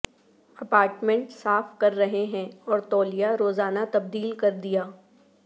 apartment صاف کر رہے ہیں اور تولیہ روزانہ تبدیل کر دیا